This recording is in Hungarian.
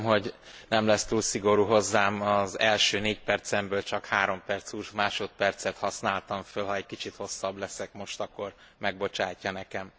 Remélem, hogy nem lesz túl szigorú hozzám, az első négy percemből csak három perc húsz másodpercet használtam fel ha egy kicsit hosszabb leszek most, akkor megbocsátja nekem.